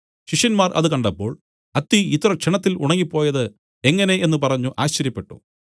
ശിഷ്യന്മാർ അത് കണ്ടപ്പോൾ അത്തി ഇത്ര ക്ഷണത്തിൽ ഉണങ്ങിപ്പോയത് എങ്ങനെ എന്നു പറഞ്ഞു ആശ്ചര്യപ്പെട്ടു